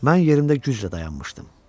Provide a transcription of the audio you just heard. Mən yerimdə güclə dayanmışdım.